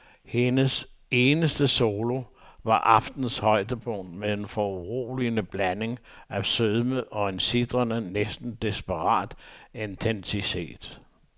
Hendes eneste solo var aftenens højdepunkt med en foruroligende blanding af sødme og en sitrende, næsten desperat intensitet.